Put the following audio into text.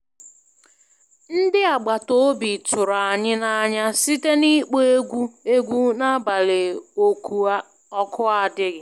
Ndị agbata obi tụrụ anyị n'anya site n'ịkpọ egwu egwu n'abalị oku adighi